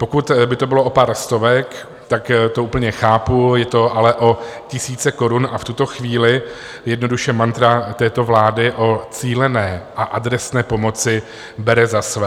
Pokud by to bylo o pár stovek, tak to úplně chápu, je to ale o tisíce korun a v tuto chvíli jednoduše mantra této vlády o cílené a adresné pomoci bere za své.